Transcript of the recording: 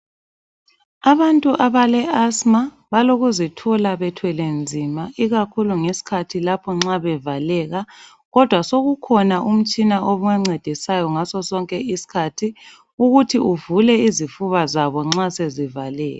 Abantu abale asima balokuzithola bethwele nzima ikakhulu ngesikhathi lapho bevaleka kodwa sokukhona utshina obancedisayo ngaso sonke isikhathi ukuthi uvule izifuba zabo nxa sezivaleka.